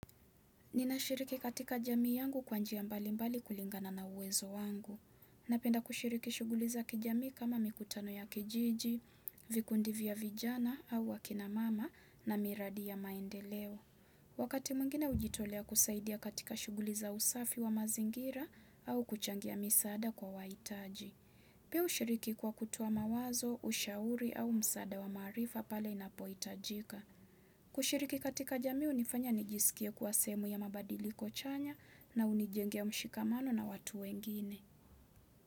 Ninashiriki katika jamii yangu kwa njia mbalimbali kulingana na uwezo wangu. Napenda kushiriki shughuli za kijamii kama mikutano ya kijiji, vikundi vya vijana au wakina mama na miradi ya maendeleo. Wakati mwengine hujitolea kusaidia katika shughuli za usafi wa mazingira au kuchangia misaada kwa waitaji. Pia hushiriki kwa kutoa mawazo, ushauri au msaada wa maarifa pale inapoitajika. Kushiriki katika jamii hunifanya nijisikie kuwa sehemu ya mabadiliko chanya na unijenge mshikamano na watu wengine.